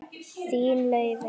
Þín, Laufey.